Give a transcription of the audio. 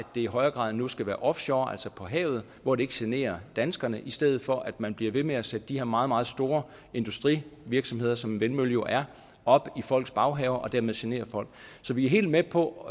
det i højere grad end nu skal være offshore altså på havet hvor det ikke generer danskerne i stedet for at man bliver ved med at sætte de her meget meget store industrivirksomheder som en vindmølle jo er op i folks baghaver og dermed generer folk så vi er helt med på